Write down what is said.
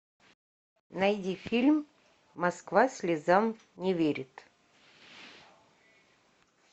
найди фильм москва слезам не верит